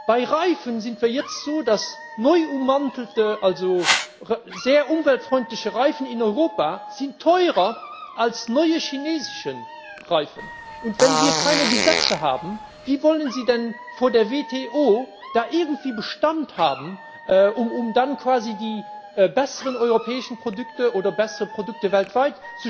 Bei Reifen ist es jetzt so, dass neu ummantelte, also sehr umweltfreundliche Reifen in Europa teurer sind als neue chinesische Reifen. Wenn wir keine Gesetze haben, wie wollen Sie denn vor der WTO da irgendwie Bestand haben, um dann quasi ohne Regeln die besseren europäischen Produkte oder bessere Produkte weltweit